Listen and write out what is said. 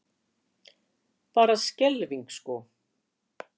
Bara skelfing sko.